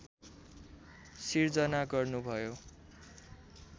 सिर्जना गर्नुभयो